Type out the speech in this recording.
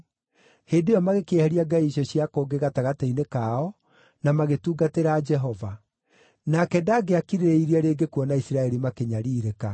Hĩndĩ ĩyo magĩkĩeheria ngai icio cia kũngĩ gatagatĩ-inĩ kao, na magĩtungatĩra Jehova. Nake ndangĩakirĩrĩirie rĩngĩ kuona Isiraeli makĩnyariirĩka.